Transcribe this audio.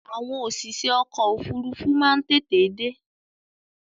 Àwọn òṣìṣẹ́ ọkọ̀ ofúrufú má n tètè dé